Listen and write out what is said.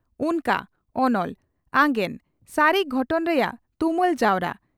"ᱩᱱᱠᱟᱹ" (ᱚᱱᱚᱞ) ᱟᱜᱮᱸᱱ (ᱥᱟᱹᱨᱤ ᱜᱷᱚᱴᱚᱱ ᱨᱮᱭᱟᱜ ᱛᱩᱢᱟᱹᱞ ᱡᱟᱣᱨᱟ